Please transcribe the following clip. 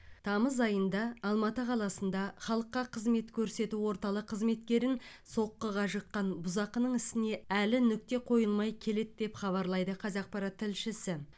тамыз айында алматы қаласында халыққа қызмет көрсету орталық қызметкерін соққыға жыққан бұзақының ісіне әлі нүкте қойылмай келеді деп хабарлайды қазақпарат тілшісі